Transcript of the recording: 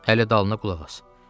Hələ dalına qulaq as.